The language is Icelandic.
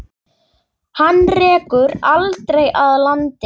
Hana rekur aldrei að landi.